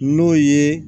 N'o ye